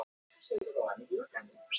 Íbúunum verða fundin önnur úrræði.